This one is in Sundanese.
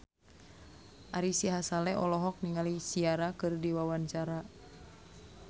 Ari Sihasale olohok ningali Ciara keur diwawancara